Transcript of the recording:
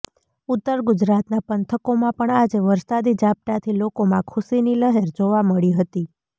ઉત્તર ગુજરાતના પંથકોમાં પણ આજે વરસાદી ઝાપટાથી લોકોમાં ખુશીની લહેર જોવા મળી હતી